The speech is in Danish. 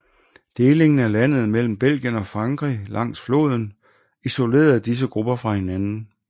Delingen af landet mellem Belgien og Frankrig langs floden isolerede disse grupper fra hinanden